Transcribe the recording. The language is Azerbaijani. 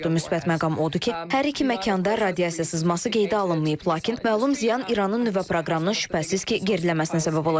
Müsbət məqam odur ki, hər iki məkanda radiasiya sızması qeydə alınmayıb, lakin məlum ziyan İranın nüvə proqramını şübhəsiz ki, geriləməsinə səbəb olacaq.